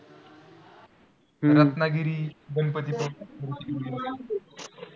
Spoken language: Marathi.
रत्नागिरी, गणपतीपुळे